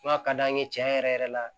Fura ka d'an ye tiɲɛ yɛrɛ yɛrɛ la